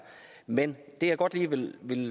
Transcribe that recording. men det jeg godt lige vil